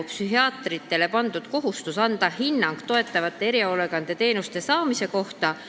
Psühhiaatritele on pandud kohustus anda hinnang toetavate erihoolekandeteenuste saamise kohta.